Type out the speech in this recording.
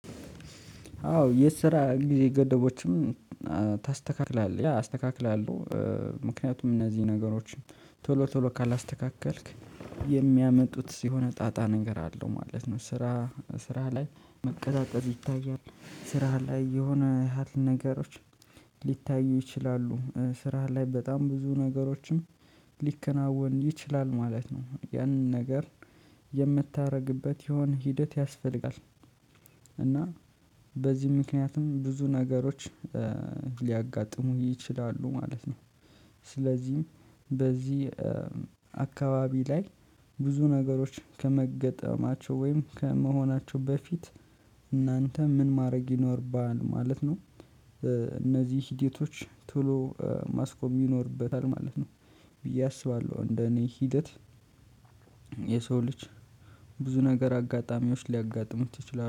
አዎ የስራ ጊዜ ገደቦችም ታስተካክላለህ። ያ አስተካክላለሁ። ምክንያቱም እነዚህ ነገሮችን ቶሎ ቶሎ ካላስተካከልክ የሚያመጡት ሲሆን ጣጣ ንገር አለው ማለት ነው። ስራ ስራ ላይ መቀጣጠል ይታያል ስራ ላይ የሆነ ነገሮች ሊታዩ ይችላሉ። ስራ ላይ በጣም ብዙ ነገሮችም ሊከናወን ይችላል። ማለት ነው ያንን ነገር የምታደርግበት የሆነ ሂደት ያስፈልጋል። እና በዚህ ምክንያቱም ብዙ ነገሮች ሊያጋጥሙ ይችላሉ። ማለት ነው። ስለዚህ በዚህ አካባቢ ላይ ብዙ ነገሮች ከመገጠማቸው ወይም ከመሆናቸው በፊት እናንተ ምን ማድረግ ይኖርባል ማለት ነው። እነዚህ ሂደቶች ቶሎ ማስቆም ይኖርበታል። ማለት ነው። ብዬ አስባለሁ እንደኔ ሂደት የሰው ልጅ ብዙ ነገር አጋጣሚዎች ሊያጋጥሙት ይችላሉ።